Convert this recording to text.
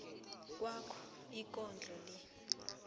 kwakho ikondlo le